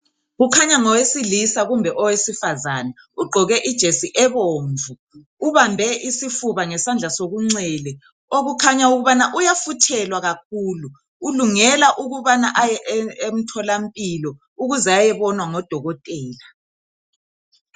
Kukhanya ngowesilisa kumbe owesifazane ugqoke ijesi eomvu ubambe isifuba ngesandla sokunxele okukhanya ukubana uyafuthelwa kakhulu ulungela ukubana aye emtholampilo ukuze ayebonwa ngodokotela